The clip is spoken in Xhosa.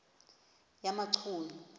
yamachunu